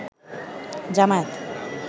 Jamaat